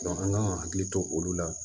an kan ka hakili to olu la